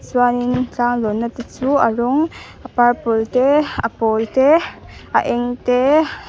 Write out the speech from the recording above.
chuanin tlang lawnna te chu a rawng a purple te a pawl te a eng te.